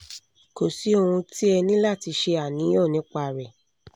kò sí ohun tí ẹ ní láti ṣe àníyàn nípa rẹ̀